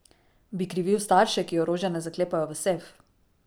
Bi krivil starše, ki orožja ne zaklepajo v sef?